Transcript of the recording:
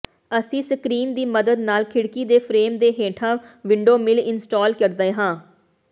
ਅਸੀਂ ਸਕ੍ਰੀਨ ਦੀ ਮਦਦ ਨਾਲ ਖਿੜਕੀ ਦੇ ਫਰੇਮ ਦੇ ਹੇਠਾਂ ਵਿੰਡੋ ਸਿਲ ਇੰਸਟਾਲ ਕਰਦੇ ਹਾਂ